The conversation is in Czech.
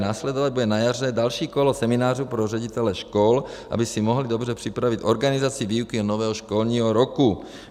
Následovat bude na jaře další kolo seminářů pro ředitele škol, aby si mohli dobře připravit organizaci výuky nového školního roku.